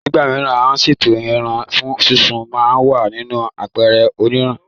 Ní ìgbà mìíràn, à ń ṣètò ẹran fún súnsun ma wà nínú àpẹ̀rẹ̀ onírin